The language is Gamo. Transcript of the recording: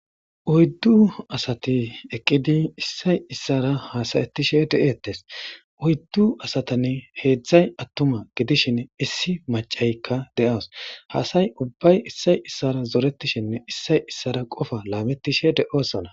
uyddu asati eqqidi issay issara haasayettishe de7eettes uyddu asatanne heedzdzay attuma gidishin issi macaykka de7oos haasay ubbay issay issara zoretishinne issay issara qofa laamettishe de7oossona